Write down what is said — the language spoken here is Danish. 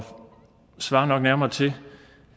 svarer nok nærmere til